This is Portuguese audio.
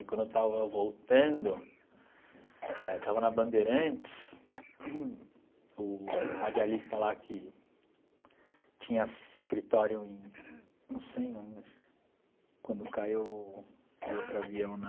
E quando eu estava voltando, estava na Bandeirantes, o radialista lá que tinha escritório em... Não sei onde, quando caiu o o outro avião na...